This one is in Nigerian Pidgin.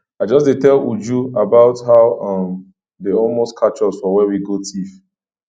i just dey tell uju about how um dey almost catch us for where we go thief